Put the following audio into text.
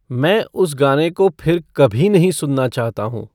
मैं उस गाने को फिर कभी नहीं सुनना चाहता हूँ